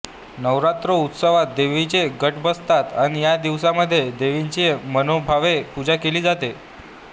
नौरात्रोत्सात्वात देवीचे घट बसतात अन या दिवसामध्ये देवीची मनोभावे पूजा केली जाते